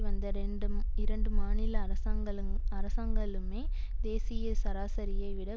வந்த ரெண்ட் இரண்டு மாநில அரசாங்களுஅரசாங்களுமே தேசிய சராசரியை விட